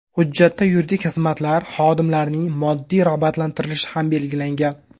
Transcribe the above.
Hujjatda yuridik xizmatlar xodimlarining moddiy rag‘batlantirilishi ham belgilangan.